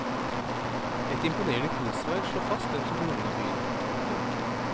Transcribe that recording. Et imponerende kunstverk slår fast hvem som grunnla byen. punktum